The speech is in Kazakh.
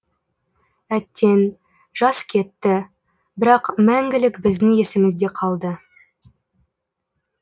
әттең жас кетті бірақ мәңгілік біздің есімізде қалды